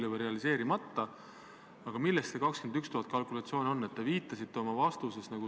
Seni me ühtegi sellist mandaati ei ole kasutanud ehk Vabariigi Valitsus ei ole siiani seda mandaati kasutanud.